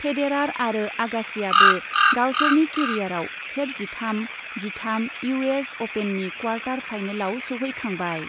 Federer आरो आगासिआबो गावसोरनि केरियारआव खेब जिथाम जिथाम इउ एस अपेननि क्वार्टार फाइनालाव सौहैखांबाय।